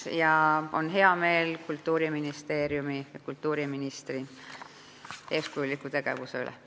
Mul on hea meel Kultuuriministeeriumi ja kultuuriministri eeskujuliku tegevuse üle.